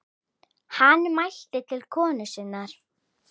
Hann mælti til konu sinnar